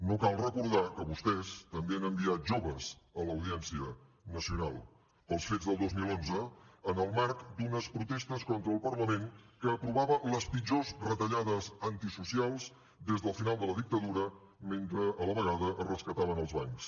no cal recordar que vostès també han enviat joves a l’audiència nacional pels fets del dos mil onze en el marc d’unes protestes contra el parlament que aprovava les pitjors retallades antisocials des del final de la dictadura mentre a la vegada es rescataven els bancs